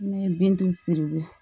Ne ye bin turigo